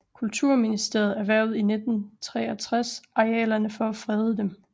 Kulturministeriet erhvervede i 1963 arealerne for at frede dem